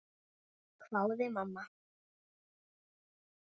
hváði mamma.